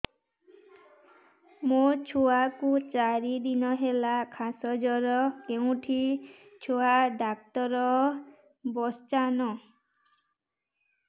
ମୋ ଛୁଆ କୁ ଚାରି ଦିନ ହେଲା ଖାସ ଜର କେଉଁଠି ଛୁଆ ଡାକ୍ତର ଵସ୍ଛନ୍